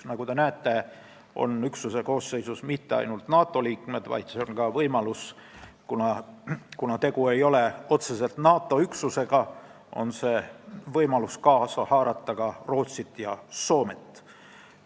Nagu te näete, ei ole üksuse koosseisus mitte ainult NATO liikmed – kuna tegu ei ole otseselt NATO üksusega, on võimalik ka Rootsit ja Soomet kaasa haarata.